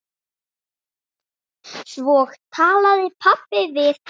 Svo talaði pabbi við hann.